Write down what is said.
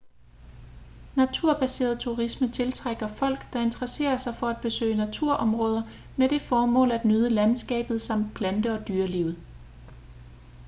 naturbaseret turisme tiltrækker folk der interesserer sig for at besøge naturområder med det formål at nyde landskabet samt plante- og dyrelivet